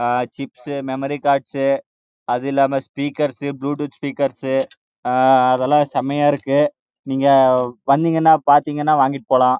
chips மற்றும் memory card எலாமை speakers மற்றும் புளூடூத் ஸ்பீக்கர்கள் அத்தலம் செமையா இருக்கு நீங்க வந்தீங்கனா பாத்தீங்கனா வாங்கிடு போலாம்